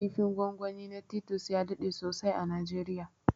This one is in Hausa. kifin gwangwani na titus ya daɗe sosai a najeriya